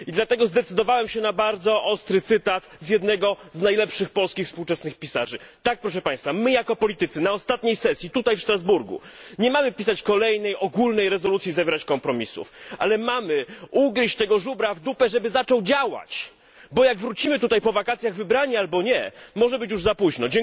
I dlatego zdecydowałem się na bardzo ostry cytat z jednego z najlepszych polskich współczesnych pisarzy, tak proszę Państwa, my jako politycy na ostatniej sesji, tutaj w Strasburgu, nie mamy pisać kolejnej ogólnej rezolucji i zawierać kompromisów, ale mamy ugryźć tego żubra w dupę, żeby zaczął działać, bo jak wrócimy tutaj po wakacjach wybrani, albo nie, może być już za późno.